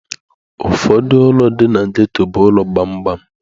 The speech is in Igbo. Ụfọdụ ụlọ dị na ghetto bụ ụlọ gbamgbam.